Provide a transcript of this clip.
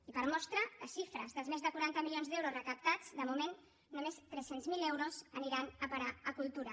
i per mostra les xifres dels més de quaranta milions d’euros recaptats de moment només tres cents miler euros aniran a parar a cultura